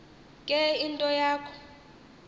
ke into yakho